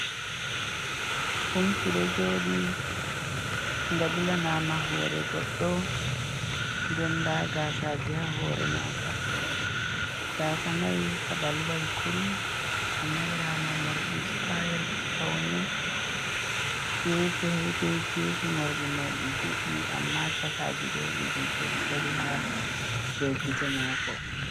Gumki ɗo joɗi nga bilanama hore goɗɗo, nden nda gasaji haa hore maga. Gasa mai kaɓalwai kurum ka moorama morɗi sita'el paune, kefe be kefe morɗi mai ɗi juɗɗi amma chakaji ɗo ɗi jutai ɗi dari haa do gite mako.